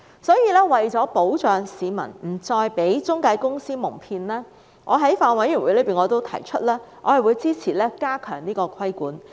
所以，為了保障市民不再被中介公司蒙騙，我在法案委員會上表示我會支持加強規管。